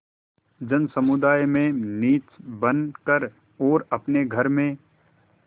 जनसमुदाय में नीच बन कर और अपने घर में